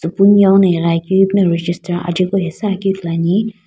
ighiakeu ipuno register aje ko hesuakeu ithuluani.